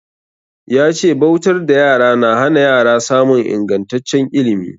Ya ce bautar da yara na hana yara samun ingantaccen ilimi.